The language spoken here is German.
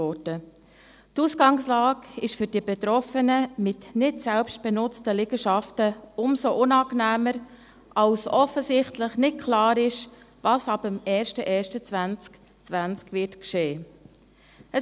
Die Ausgangslage ist für die Betroffenen, mit nicht selbst genutzten Liegenschaften umso unangenehmer, als offensichtlich nicht klar ist, was ab dem 01.01.2020 geschehen wird.